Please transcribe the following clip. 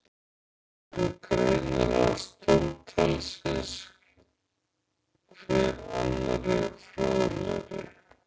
Urðu greinar hans tólf talsins, hver annarri fróðlegri.